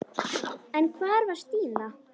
En hvar var Stína?